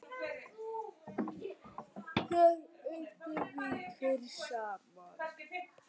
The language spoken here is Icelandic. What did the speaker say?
Þar unnum við tveir saman.